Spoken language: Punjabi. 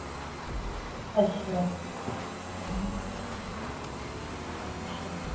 ਅਸ਼ਾ ਅਸ਼ਾ